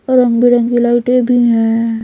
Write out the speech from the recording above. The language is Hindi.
रंग बिरंगी लाइटें भी हैं।